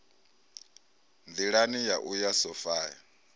nḓilani ya u ya sophia